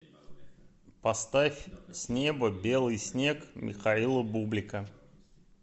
поставь с неба белый снег михаила бублика